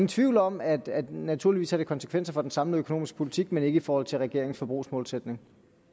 tvivl om at det naturligvis har konsekvenser for den samlede økonomiske politik men ikke i forhold til regeringens forbrugsmålsætninger